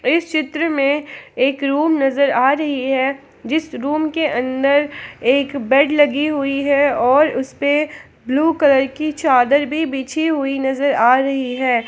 इस चित्र में एक रूम नजर आ रही है जिस रूम के अंदर एक बेड लगी हुई है और उसपे ब्लू कलर की चादर भी बिछी हुई नजर आ रही है ।